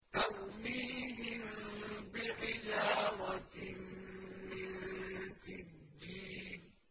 تَرْمِيهِم بِحِجَارَةٍ مِّن سِجِّيلٍ